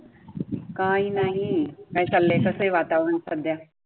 काय नाही काय चाललंय तसे वातावरण सध्या?